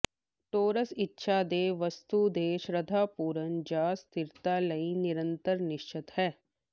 Taurus ਇੱਛਾ ਦੇ ਵਸਤੂ ਤੇ ਸ਼ਰਧਾਪੂਰਨ ਜਾਂ ਸਥਿਰਤਾ ਲਈ ਨਿਰੰਤਰ ਨਿਸ਼ਚਤ ਹੈ